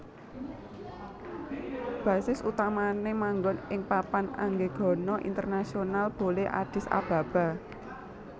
Basis utamané manggon ing Papan Anggegana Internasional Bole Addis Ababa